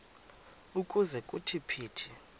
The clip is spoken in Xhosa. ukuze kuthi phithi